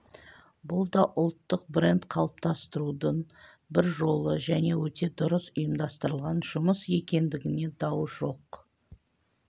бұл да ұлттық бренд қалыптастырудың бір жолы және өте дұрыс ұйымдастырылған жұмыс екендігіне дау жоқ